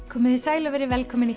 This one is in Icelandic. komiði sæl og verið velkomin